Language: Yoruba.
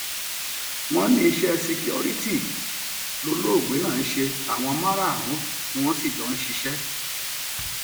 wọn ní iṣẹ síkíkọrítì lọlọọgbẹ náà ń ṣe àwọn márùnún sí ni wọn jọ ń ṣiṣẹ